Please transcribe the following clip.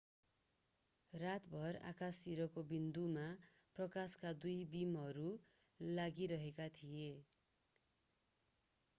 रातभर आकाशतिरको बिन्दुमा प्रकाशका दुई बीमहरू लगाइएका थिए